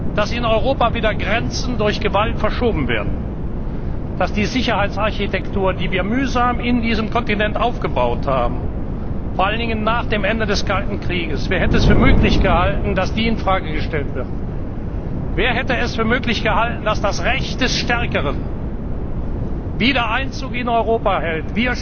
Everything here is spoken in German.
können, dass in Europa wieder Grenzen durch Gewalt verschoben werden, dass die Sicherheitsarchitektur, die wir mühsam in diesem Kontinent aufgebaut haben, vor allen Dingen nach dem Ende des Kalten Kriegs, in Frage gestellt wird? Wer hätte es für möglich gehalten, dass das Recht des Stärkeren in Europa wieder